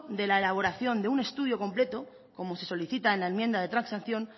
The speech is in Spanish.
de la elaboración de un estudio completo como se solicita en la enmienda de transacción